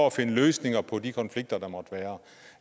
at finde løsninger på de konflikter der måtte være